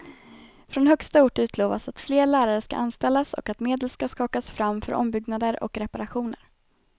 Från högsta ort utlovas att fler lärare ska anställas och att medel ska skakas fram för ombyggnader och reparationer.